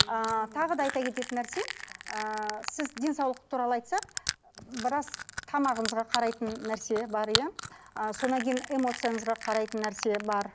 ыыы тағы да айта кететін нәрсе ыыы сіз денсаулық туралы айтсақ біраз тамағыңызға қарайтын нәрсе бар иә ы содан кейін эмоцияңызға қарайтын нәрсе бар